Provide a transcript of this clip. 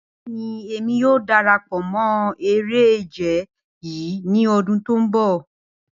Bẹẹni, Emi yoo darapọ mọ ere-ije yii ni ọdun ti n bọ.